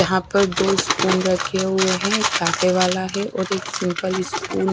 यहां पर दो स्पून रखे हुए हैं एक काटे वाला है और एक सिंपल स्पून --